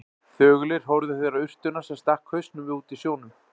Þögulir horfðu þeir á urtuna, sem stakk upp hausnum úti í sjónum.